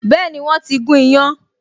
Been, wọ́n ti gún iyán